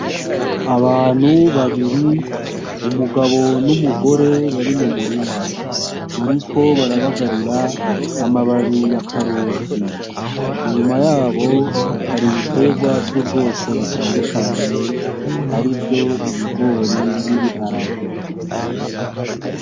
Abantu babiri umugabo n'umugore bari mumurima bariko barabagarira amababi y'akaroti inyuma yabo hari ibiterwa vy'ubwoko butandukanye arivyo ibigori n'ibiharage.